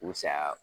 U saya